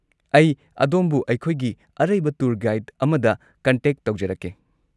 ꯑꯩ ꯑꯗꯣꯝꯕꯨ ꯑꯩꯈꯣꯏꯒꯤ ꯑꯔꯩꯕ ꯇꯨꯔ ꯒꯥꯏꯗ ꯑꯃꯗ ꯀꯟꯇꯦꯛ ꯇꯧꯖꯔꯛꯀꯦ꯫